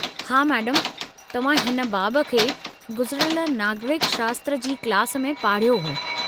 हा, मैडमु तव्हां हिन बाबु खे गुज़िरयल नागरिक शास्त्र जी क्लास में पाढ़यो हो।